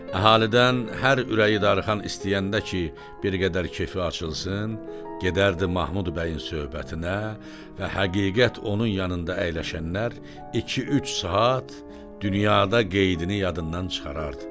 Əhalidən hər ürəyi darıxan istəyəndə ki, bir qədər kefi açılsın, gedərdi Mahmud bəyin söhbətinə və həqiqət onun yanında əyləşənlər iki-üç saat dünyada qeydini yadından çıxarardı.